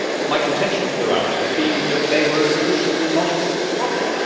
My contention throughout has been that they were a solution to a non existent problem.